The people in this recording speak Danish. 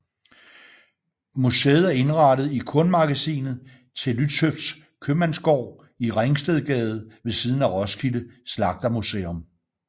Museet er indrettet i kornmagasinet til Lützhøfts Købmandsgård i Ringstedgade ved siden af Roskilde Slagtermuseum